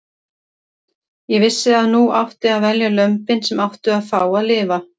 Ég vissi að nú átti að velja lömbin sem áttu að fá að lifa.